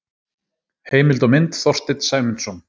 Heimild og mynd Þorsteinn Sæmundsson.